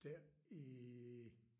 Der i